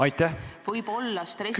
Aitäh!